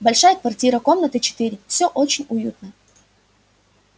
большая квартира комнаты четыре всё очень уютно